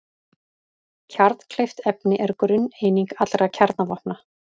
Kjarnkleyft efni er grunneining allra kjarnavopna.